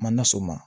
Ma na s'o ma